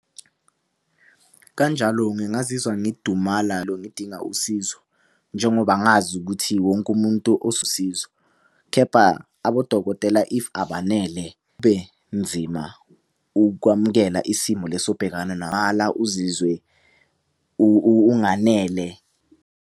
Kanjalo ngingazizwa ngidumala ngidinga usizo. Njengoba ngazi ukuthi wonke umuntu . Kepha abodokotela if abanele ukwamukela isimo leso obhekana uzizwe unganele.